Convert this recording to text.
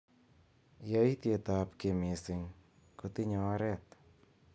Yaityet ab ki mising kotinyei oret.